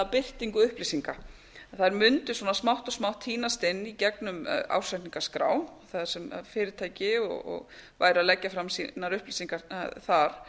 birtingu upplýsinga að þær mundu smátt og smátt tínast inn í gegnum ársreikningaskrá þar sem fyrirtæki væru að leggja fram sínar upplýsingar þar